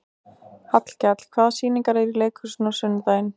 Hallkell, hvaða sýningar eru í leikhúsinu á sunnudaginn?